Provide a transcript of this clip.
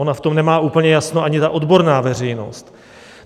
Ona v tom nemá úplně jasno ani ta odborná veřejnost.